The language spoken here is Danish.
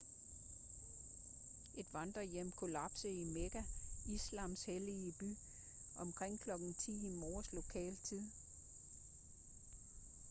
et vandrehjem kollapsede i mekka islams hellige by omkring kl. 10 i morges lokal tid